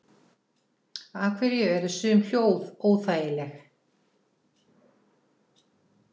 Af hverju eru sum hljóð óþægileg?